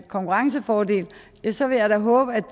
konkurrencefordel så vil jeg da håbe at